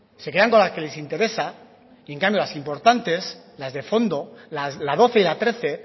se quedan con las que les interesa y en cambio las importantes las de fondo la doce y la trece